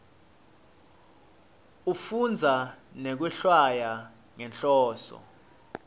ekufundza nekwehlwaya ngenhloso